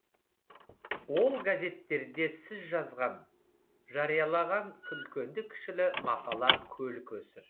ол газеттерде сіз жазған жариялаған үлкенді кішілі мақала көл көсір